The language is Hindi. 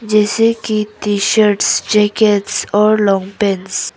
जैसे की टी शर्ट्स जैकेट्स और लॉन्ग पैंट्स ।